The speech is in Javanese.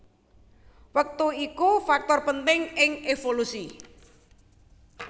Wektu iku faktor penting ing évolusi